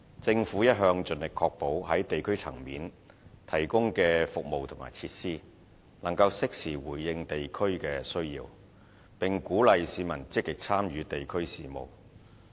政府一向盡力確保在地區層面提供的服務和設施，能適時回應地區的需要，並鼓勵市民積極參與地區事務。